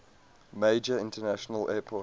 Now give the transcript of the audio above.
major international airport